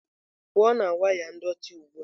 pụọ na waya ndọtị ugbu a!